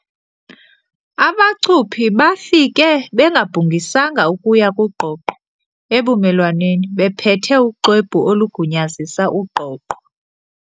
Abacuphi bafike bengabhungisanga ukuya kugqogqa ebumelwaneni bephethe uxwebhu olugunyazisa ugqogqo.